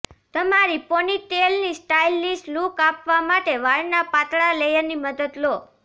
તમારી પોનીટેલની stylish look આપવા માટે વાળના પાતળા લેયરની મદદ લો